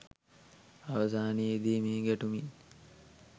අවසානයේ දී මේ ගැටුමින්